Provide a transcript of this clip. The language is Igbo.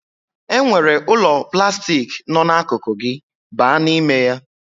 E nwere ụlọ plastik nọ akụkụ gị, baa n'ime ya